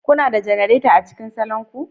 Kuna da janareta a cikin salon ku?